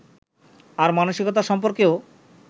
আর মানসিকতা সম্পর্কেও